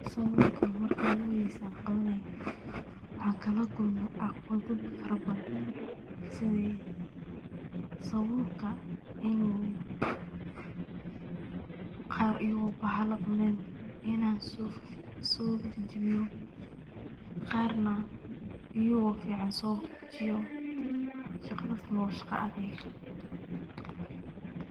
Sabulka marki oguxoreysee an qawanay, waxan kalakulme caqawadho farabadhan, sidhii sabulka inu qar ayago baxala cunen inan sojajawiyo, qar naa iyugo fican so fujiyo, shagaadhasnax wa shagaa adheg